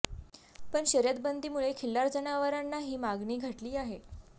पण शर्यत बंदीमुळे खिल्लार जनावरांना ही मागणी घटली आहे